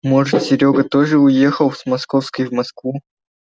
может серёга тоже уехал с московской в москву